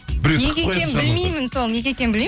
неге екенін білмеймін сол неге екенін білмеймін